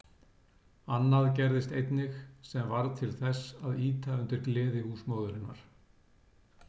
Annað gerðist einnig, sem varð til þess að ýta undir gleði húsmóðurinnar.